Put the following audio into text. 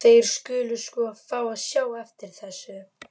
Þeir skulu sko fá að sjá eftir þessu.